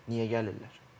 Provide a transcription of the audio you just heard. Niyə gəlirlər?